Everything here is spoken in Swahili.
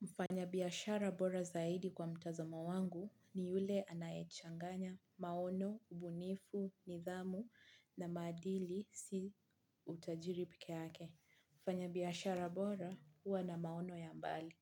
Mfanya biashara bora zaidi kwa mtazomo wangu ni yule anaechanganya maono, ubunifu, nidhamu na maadili si utajiri peke yake. Mfanya biashara bora, hua na maono ya mbali.